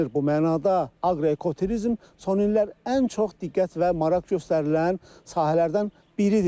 Bu mənada aqroekoturizm son illər ən çox diqqət və maraq göstərilən sahələrdən biridir.